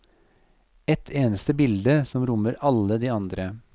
Ett eneste bilde som rommer alle de andre.